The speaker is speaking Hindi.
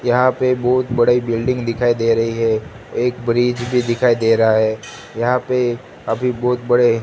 यहां पे बहुत बड़े बिल्डिंग दिखाई दे रही है एक ब्रिज भी दिखाई दे रहा है यहां पे अभी बहुत बड़े--